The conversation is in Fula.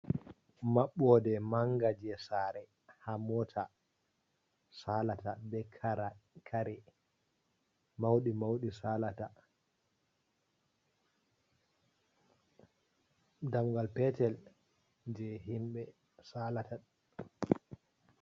Maɓɓode manga je sare ha mota salata be kare mauɗi mauɗi salata dammungal petel je himɓe salata.